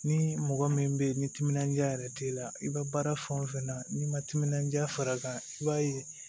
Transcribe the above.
Ni mɔgɔ min bɛ ye ni timinandiya yɛrɛ t'i la i bɛ baara fɛn o fɛn na n'i ma timinandiya fara kan i b'a ye